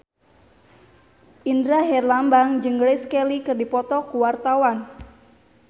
Indra Herlambang jeung Grace Kelly keur dipoto ku wartawan